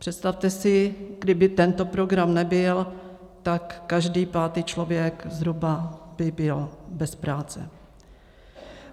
Představte si, kdyby tento program nebyl, tak každý pátý člověk zhruba by byl bez práce.